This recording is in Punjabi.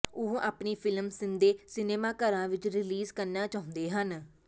ਉਹ ਆਪਣੀ ਫਿਲਮ ਸਿੱਧੇ ਸਿਨੇਮਾਘਰਾਂ ਵਿਚ ਰਿਲੀਜ਼ ਕਰਨਾ ਚਾਹੁੰਦੇ ਹਨ